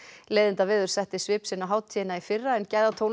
leiðindaveður setti svip sinn á hátíðina í fyrra en